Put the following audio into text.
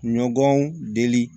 Ɲɔgɔn deli